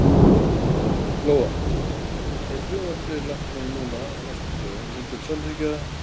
Lóa: Ef frumvarpið yrði lagt fram núna á næstu dögum myndirðu samþykkja það?